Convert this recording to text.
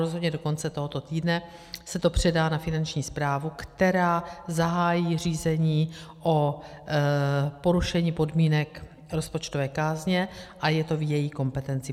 Rozhodně do konce tohoto týdne se to předá na Finanční správu, která zahájí řízení o porušení podmínek rozpočtové kázně, a je to v její kompetenci.